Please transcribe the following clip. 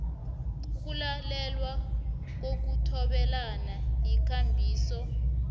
ukulalelwa kokuthobelana yikambiso